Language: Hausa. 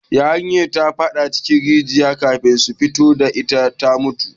Yarinyar ta fada cikin rigiya, kafin su fito da ita ta mutu